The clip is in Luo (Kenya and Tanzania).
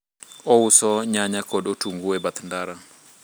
ouso nyanya kod otungu e bath ndara